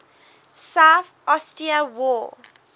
south ossetia war